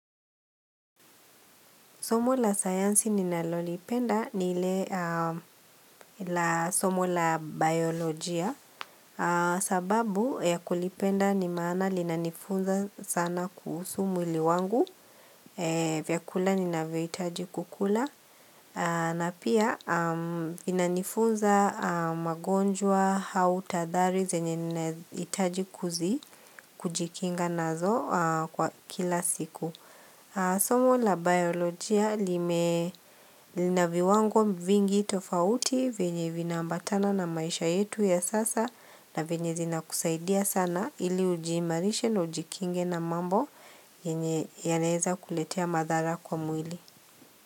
Somo la sayansi ninalolipenda ni ile la somo la biolojia sababu ya kulipenda ni maana linanifunza sana kuhusu mwili wangu vyakula ninavyohitaji kukula na pia linanifunza magonjwa au tahadhari zenye ninahitaji kujikinga nazo kwa kila siku somo la biolojia lina viwango vingi tofauti vyenye vinaambatana na maisha yetu ya sasa na vyenye zinakusaidia sana ili ujiimarishe na ujikinge na mambo yenye yanaeza kuletea madhara kwa mwili.